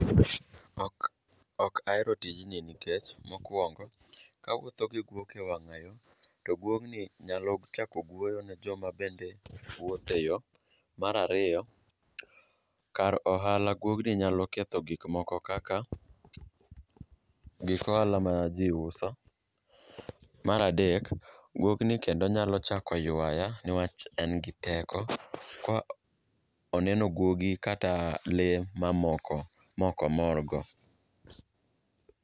Ok ahero tijni nikech mokwongo, kawuotho gi guok e wang'ayo to guogni nyalo chako gweyo ne joma bende wuothe yo. Mar ariyo, kar ohala guogni nyalo ketho gikmoko kaka gik ohala ma ji uso. Mar adek, guogni kendo nyalo chako ywaya ne wach en gi teko ka oneno guogi kata lee mamoko mokomorgo.